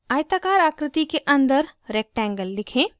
आयताकार आकृति के अंदर rectangle लिखें